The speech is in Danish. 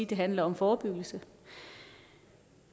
det handler om forebyggelse